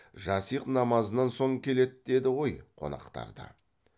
жасиғ намазынан соң келеді деді ғой қонақтарды